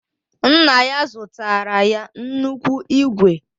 Nna ya zụtara ya nnukwu ígwè